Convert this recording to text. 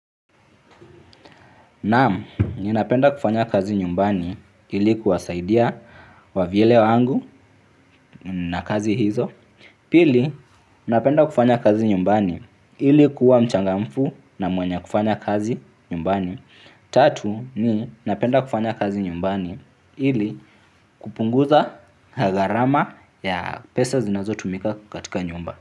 Naam, napenda kufanya kazi nyumbani ili kuwasaidia wavyele wangu na kazi hizo. Pili, napenda kufanya kazi nyumbani ili kuwa mchangamfu na mwenye bidii kufanya kazi nyumbani. Tatu ni, napenda kufanya kazi nyumbani ili kupunguza gharama ya pesa zinazotumika nyumbani.